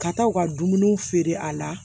Ka taa u ka dumuniw feere a la